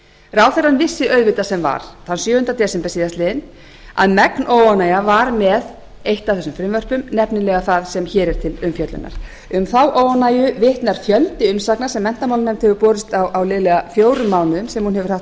ráðherrann vissi auðvitað sem var þann sjöunda desember síðastliðnum að megn óánægja var með eitt af þessum frumvörpum nefnilega það sem hér er til umfjöllunar um þá óánægju vitnar fjöldi umsagna sem menntamálanefnd hefur borist á liðlega fjórum mánuðum sem hún hefur haft málið